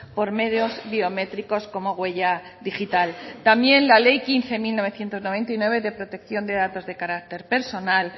por medios biométricos como huella digital también la ley quince barra mil novecientos noventa y nueve de protección de datos de carácter personal